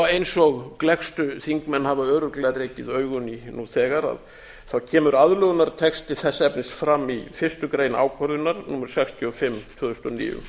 eins og gleggstu þingmenn hafa örugglega rekið augun í nú þegar kemur aðlögunartexti þess efnis fram í fyrstu grein ákvörðunar númer sextíu og fimm tvö þúsund og níu